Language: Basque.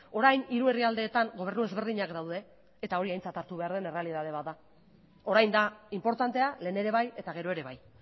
orain hiru herrialdeetan gobernu ezberdinak daude eta hori aintzat hartu behar den errealitate bat da orain da inportantea lehen ere bai eta gero ere bai